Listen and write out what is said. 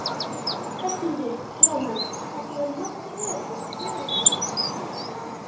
Höskuldur: Jóhanna, þetta var nokkuð öruggur meirihluti?